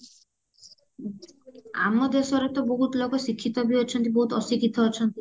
ଆମ ଦେଶରେ ତ ବହୁତ ଲୋକ ଶିକ୍ଷିତ ବି ଅଛନ୍ତି ବହୁତ ଅଶିକ୍ଷିତ ଅଛନ୍ତି